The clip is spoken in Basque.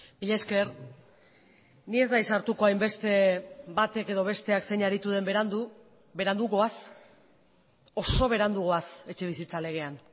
mila esker ni ez naiz sartuko hainbeste batek edo besteak zein aritu den berandu berandu goaz oso berandu goaz etxebizitza legean